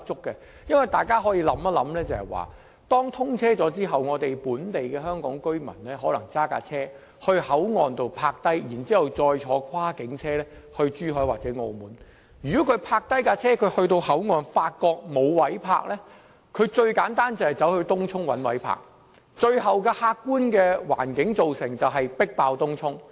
大家試想象，當大橋通車後，本地香港居民可能會駕車到口岸停泊，然後再乘搭跨境車輛前往珠海或澳門，如果市民抵達口岸時，發覺沒有泊車位，最簡單的做法是把車輛駛往東涌尋找泊車位。